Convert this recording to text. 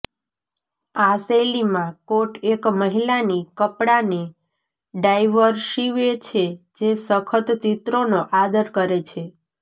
આ શૈલીમાં કોટ એક મહિલાની કપડાને ડાઇવર્સિવે છે જે સખત ચિત્રોનો આદર કરે છે